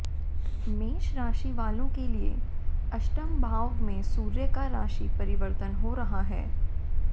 मेष राशि वालों के लिये अष्टम भाव में सूर्य का राशि परिवर्तन हो रहा है